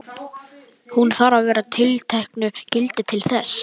Hún þarf að vera yfir tilteknu gildi til þess.